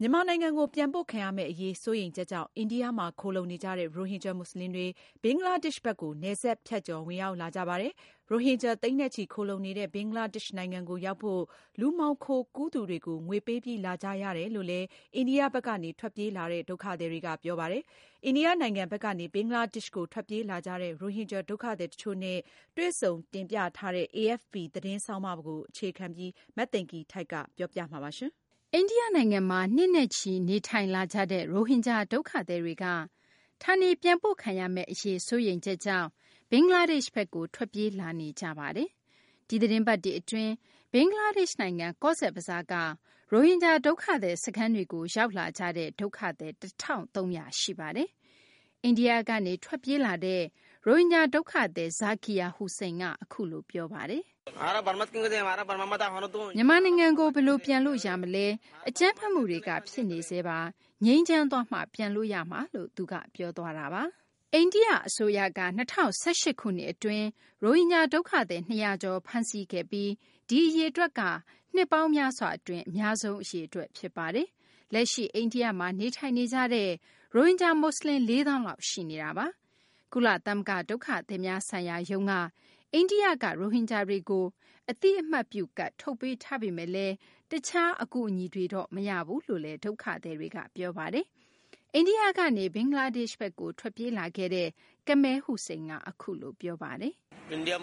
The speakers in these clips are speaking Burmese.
မြန်မာနိုင်ငံကို ပြန်ပို့ခံရမယ့် အရေး စိုးရိမ်ချက်ကြောင့် အိန္ဒိယမှာ ခိုလှုံနေကြတဲ့ ရိုဟင်ဂျာ မူဆလင်တွေ ဘင်္ဂလားဒေရှ့်ဘက်ကို နယ်စပ်ဖြတ်ကျော် ဝင်ရောက်လာကြပါတယ်။ ရိုဟင်ဂျာ သိန်းနဲ့ချီ ခိုလှုံနေတဲ့ ဘင်္ဂလားဒေရှ့်နိုင်ငံကို ရောက်ဖို့ လူမှောင်ခိုကူးသူတွေကို ငွေပေးပြီး လာကြရတယ်လို့လည်း အိန္ဒိယဘက်ကနေ ထွက်ပြေးလာတဲ့ ဒုက္ခသည်တွေက ပြောပါတယ်။ အိန္ဒိယ နိုင်ငံဘက်ကနေ ဘင်္ဂလားဒေရှ့်ကို ထွက်ပြေးလာကြတဲ့ ရိုဟင်ဂျာ ဒုက္ခသည် တချို့နဲ့ တွေ့ဆုံတင်ပြထားတဲ့ AFP သတင်းဆောင်းပါးကို အခြေခံပြီး မသိင်္ဂ ီထိုက် တင်ပြပေးမှာပါ။ အိန္ဒိယနိုင်ငံမှာ နှစ်နဲ့ချီ နေထိုင်လာကြတဲ့ ရိုဟင်ဂျာ ဒုက္ခသည်တွေက ဌာနေပြန်ပို့ခံရမယ့် အရေး စိုးရိမ်ချက်ကြောင့် ဘင်္ဂလားဒေရှ့်ဘက်ကို ထွက်ပြေးလာနေကြပါတယ်။ ဒီသတင်းပတ်တွေ အတွင်း ဘင်္ဂလားဒေရှ့် နိုင်ငံ ကောဇ်ဘဇားက ရိုဟင်ဂျာ ဒုက္ခသည် စခန်းတွေကို ရောက်ရှိလာကြတဲ့ ဒုက္ခသည် ၁၃၀၀ ရှိနေပါတယ်။ အိန္ဒိယကနေ ထွက်ပြေးလာတဲ့ ရိုဟင်ဂျာ ဒုက္ခသည် Zakir Hossain က အခုလို ပြောပါတယ်။ "မြန်မာနိုင်ငံကို ဘယ်လို ပြန်လို့ ရမလဲ။ အကြမ်းဖက်မှုတွေက ဖြစ်နေဆဲပါ။ ငြိမ်းချမ်းသွားမှ ကျနော်တို့ ပြန်လို့ ရမှာပါ။" အိန္ဒိယ အစိုးရက ၂၀၁၈ ခုနှစ် အတွင်း ရိုဟင်ဂျာ ဒုက္ခသည် ၂၀၀ ကျော် ဖမ်းဆီးခဲ့ပြီး ဒီအရေအတွက်ဟာဆိုရင် နှစ်ပေါင်းများစွာ အတွင်း အများဆုံး အရေအတွက် ဖြစ်ပါတယ်။ လက်ရှိ အိန္ဒိယမှာ နေထိုင်နေကြတဲ့ ရိုဟင်ဂျာ မူဆလင် ၄ သောင်းလောက် ရှိနေတာပါ။ ကုလသမဂ္ဂ ဒုက္ခသည်များဆိုင်ရာရုံးက အိန္ဒိယမှာ နေနေကြတဲ့ ရိုဟင်ဂျာတွေကို အသိအမှတ်ပြု ကဒ် ထုတ်ပေးထားပေမယ့်လည်း တခြား အကူအညီတွေ မရဘူးလို့လည်း ဒုက္ခသည်တွေက ပြောပါတယ်။ အိန္ဒိယကနေ ဘင်္ဂလားဒေရှ့်ဘက်ကို ထွက်ပြေးလာခဲ့သူ Kamal Hossain က အခုလို ပြောပါတယ်။ "အိန္ဒိယ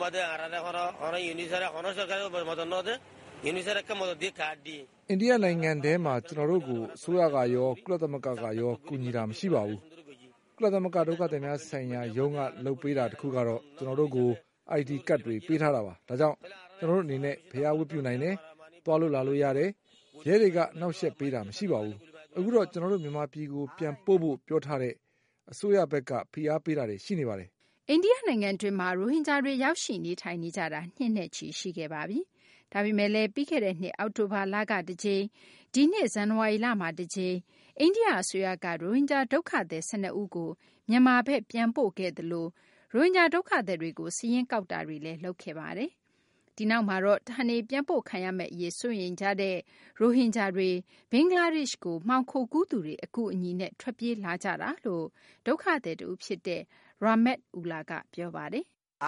နိုင်ငံထဲမှာ ကျနော်တို့ကို အစိုးရကရော ကုလသမဂ္ဂကရော ကူညီတာ မရှိပါဘူး။ ကုလသမဂ္ဂ ဒုက္ခသည်များဆိုင်ရာရုံးက လုပ်ပေးတာ တခုကတော့ ကျနော်တို့ကို ID ကဒ်တွေ ပေးထားတာပါ။ ဒါကြောင့် ကျနော်တို့ အနေနဲ့ ဘုရား ဝတ်ပြုနိုင်တယ်၊ သွားလို့ လာလို့ ရတယ်။ ကျနော်တို့ နေရာတာ အဆင်ပြေပါတယ်။ ရဲတွေက အနှောင့်အယှက်ပေးတာ မရှိပါဘူး။ အခုတော့ ကျနော်တို့ မြန်မာပြည်ကို ပြန်ပို့ဖို့ ပြောထားတဲ့ အစိုးရဘက်က ဖိအားပေးတာတွေ ရှိပါတယ်။" အိန္ဒိယ နိုင်ငံတွင်းမှာ ရိုဟင်ဂျာတွေ ရောက်ရှိ နေထိုင်နေကြတာ နှစ်နဲ့ချီ ရှိခဲ့ပါပြီ။ ဒါပေမယ့်လည်း ပြီးခဲ့တဲ့နှစ် အောက်တိုဘာလက တကြိမ်၊ ဒီနှစ် ဇန်နဝါရီလမှာ တကြိမ် အိန္ဒိယ အစိုးရက ရိုဟင်ဂျာ ဒုက္ခသည် ၁၂ ဦးကို မြန်မာဘက် ပြန်ပို့ခဲ့သလို ရိုဟင်ဂျာ ဒုက္ခသည်တွေကို စာရင်းကောက်ယူတာတွေလည်း လုပ်ခဲ့တာပါ။ ဒီနောက်မှာတော့ ဌာနေပြန်ပို့ခံရမယ့် အရေး စိုးရိမ်ကြတဲ့ ရိုဟင်ဂျာတွေ ဘင်္ဂလားဒေရှ့်ကို မှောင်ခိုကူးသူတွေ အကူအညီနဲ့ ထွက်ပြေးလာကြတာလို့ ဒုက္ခသည် တဦး ြဖ်စတဲ့ Rahmat Ullah က ပြောပါတယ်။ "အ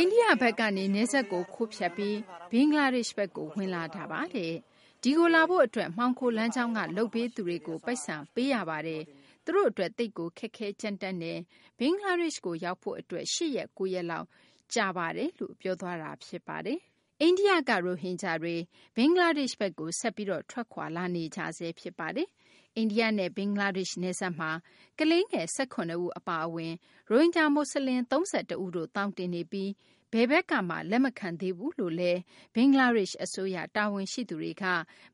ိန္ဒိယဘက်ကနေ နယ်စပ်ကို ခိုးဖြတ်ပြီး ဘင်္ဂလားဒေရှ့်ဘက်ကို ဝင်လာတာပါ။ ဒီကိုလာဖို့ အတွက် မှောင်ခိုလမ်းကြောင်းက လုပ်ပေးသူတွေကို ပိုက်ဆံ ပုံပေးရပါတယ်။ ကျနော်တို့ အတွက် သိပ်ကို ခက်ခဲ ကြမ်းတမ်းလှပါတယ်။ ဘင်္ဂလားဒေရှ့်ကို ရောက်ဖို့ အတွက် ၈ ရက်၊ ၉ ရက်လောက် ကြာပါတယ်။" အိန္ဒိယဘက်ကနေ ရိုဟင်ဂျာတွေ ဘင်္ဂလားဒေရှ့်ဘက်ကို ဆက်ပြီး ထွက်ခွာလာနေကြဆဲ ဖြစ်ပါတယ်။ အိန္ဒိယနဲ့ ဘင်္ဂလားဒေရှ့် နယ်စပ်မှာ ကလေးငယ် ၁၇ ဦး အပါအဝင် ရိုဟင်ဂျာ မူဆလင် ၃၁ ဦးတို့ သောင်တင်နေပြီး ဘယ်ဘက်ကမှ လက်မခံသေးဘူးလို့လည်း ဘင်္ဂလားဒေရှ့် အစိုးရ တာဝန်ရှိသူတွေက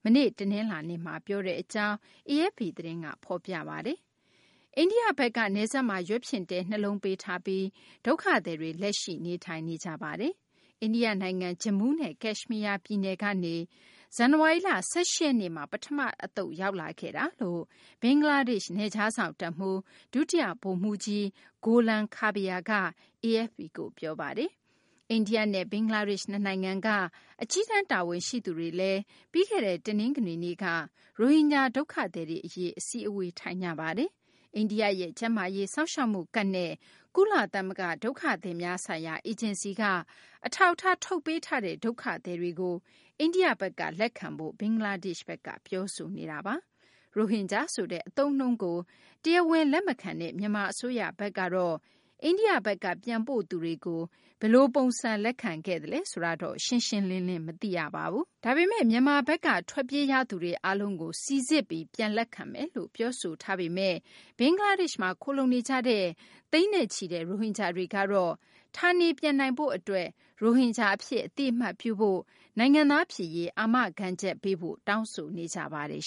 မနေ့ တနလာၤနေ့က ပြောဆိုတဲ့ အကြောင်း AFP သတင်းက ဖော်ပြပါတယ်။ အိန္ဒိယဘက်က နယ်စပ်မှာ ရွက်ဖျင်တဲ နှစ်လုံး ပေးထားပြီး အဲဒီ ဒုက္ခသည်တွေ လက်ရှိ နေထိုင်နေကြပါတယ်။ အိန္ဒိယ နိုင်ငံ ဂျမူးနဲ့ ကက်ရှမီးယား ပြည်နယ်ကနေ ဇန်နဝါရီလ ၁၈ ရက်နေ့မှာ ပထမ တသုတ် ရောက်ရှိလာခဲ့တာလို့ ဘင်္ဂလားဒေရှ့် နယ်ခြားစောင့် တပ်မှူး ဒုတိယ ဗိုလ်မှူးကြီး Golam Kabir က AFP ကို ပြောပါတယ်။ အိန္ဒိယနဲ့ ဘင်္ဂလားဒေရှ့် နှစ်နိုင်ငံက အကြီးတန်း တာဝန်ရှိသူတွေက ပြီးခဲ့တဲ့ တနင်္ဂနွေနေ့က ရိုဟင်ဂျာ ဒုက္ခသည်တွေ အရေး အစည်းအဝေး ထိုင်ကြပါတယ်။ အိန္ဒိယရဲ့ ကျန်းမာရေး စောင့်ရှောက်မှုကဒ်နဲ့ ကုလသမဂ္ဂ ဒုက္ခသည်များဆိုင်ရာ အေဂျင်စီက အထောက်အထား ထုတ်ပေးထားတဲ့ ဒုက္ခသည်တွေကို အိန္ဒိယဘက်က လက်ခံဖို့ ဘင်္ဂလားဒေရှ့်ဘက်က ပြောဆိုနေတာပါ။ ရိုဟင်ဂျာ ဆိုတဲ့ အသုံးအနှုန်းကို တရားဝင် လက်မခံတဲ့ မြန်မာ အစိုးရဘက်က အိန္ဒိယဘက်က ပြန်ပို့သူတွေကို ဘယ်လို ပုံစံ လက်ခံခဲ့သလဲ ဆိုတာ ရှင်းရှင်းလင်းလင်း မရှိပါဘူး။ ဒါပေမယ့် မြန်မာဘက်က ထွက်ပြေးရသူတွေ အားလုံးကို စိစစ်ပြီး လက်ခံမယ်လို့ ပြောဆိုထားပေမယ့် ဘင်္ဂလားဒေရှ့်မှာ ခိုလှုံနေကြတဲ့ သိန်းနဲ့ချီတဲ့ ရိုဟင်ဂျာတွေကတော့ ဌာနေပြန်နိုင်ရေး အတွက် ရိုဟင်ဂျာ အဖြစ် အသိအမှတ်ပြုဖို့ နိုင်ငံသား ဖြစ်ရေး အာမခံချက် ပေးဖို့ တောင်းဆိုနေကြပါတယ်